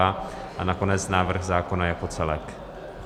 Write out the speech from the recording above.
A nakonec návrh zákona jako celek.